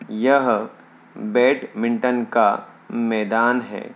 यह बैटमिंटन का मैदान है।